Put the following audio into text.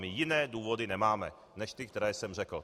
My jiné důvody nemáme než ty, které jsem řekl.